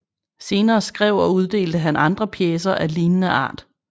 Senere skrev og uddelte han andre pjecer af lignende art